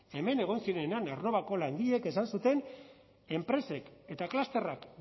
hemen egon ziren aernnovako langileek esan zuten enpresek eta klusterrak